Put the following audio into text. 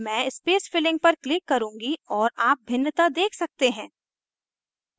मैं space filling पर click करुँगी और आप भिन्नता देख सकते हैं